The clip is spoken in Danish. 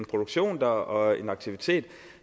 produktion dér og en aktivitet